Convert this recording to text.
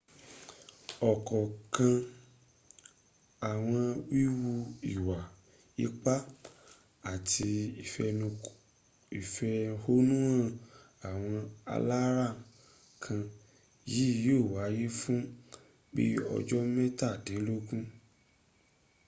òkànkan àwọn wíwu ìwà ipá àti ìfẹ̀hónúhàn àwọn alárànká yìí yìó wáyé fún bi ọjọ́ métàdínlógún